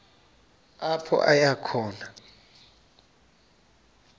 apho aya khona